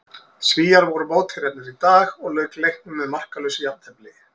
Svíar voru mótherjarnir í dag og lauk leiknum með markalausu jafntefli.